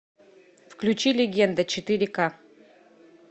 включи легенда четыре ка